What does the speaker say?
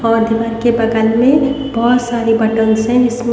और घर के बगल में बहुत सारी बटन्स हैं जीसमे --